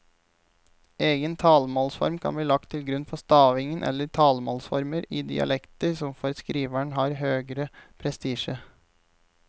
Egen talemålsform kan bli lagt til grunn for stavingen eller talemålsformer i dialekter som for skriveren har høgere prestisje.